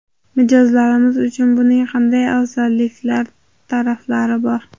Mijozlarimiz uchun buning qanday afzallik taraflari bor?